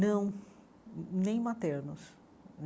Não, nem maternos.